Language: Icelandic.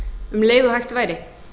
um leið og hægt væri